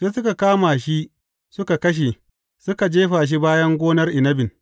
Sai suka kama shi suka kashe, suka jefa shi bayan gonar inabin.